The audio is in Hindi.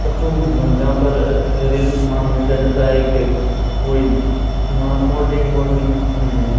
परचून की दुकान जहां पर घरेलू समान मिल जाता था एक कॉइल वहां कोल्ड ड्रिंक वोल्ड ड्रिंक मिल रहे हैं।